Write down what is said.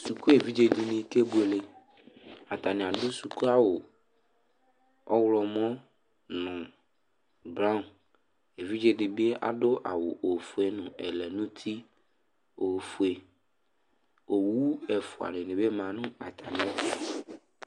Suku evidze dɩnɩ kebuele Atanɩ adʋ sukuawʋ ɔɣlɔmɔ nʋ braɔn Evidze dɩ bɩ adʋ awʋ ofue nʋ ɛlɛnʋti ofue Owu ɛfʋa dɩnɩ bɩ ma nʋ atamɩɛtʋ